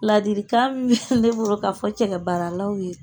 Ladilikan min ne bolo k'a fɔ cɛkɛ baaralaw ye